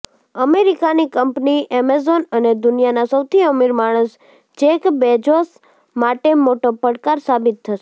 અમેરિકાની company Amazon અને દુનિયાના સૌથી અમીર માણસ જેક બેજોસ માટે મોટો પડકાર સાબિત થશે